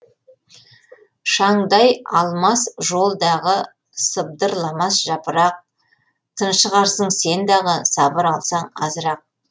шаңдай алмас жол дағы сыбдырламас жапырақ тыншығарсың сен дағы сабыр қылсаң азырақ